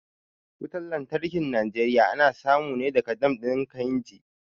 Wutan lantarkin Najeriya ana samu ne daga dam ɗin kainji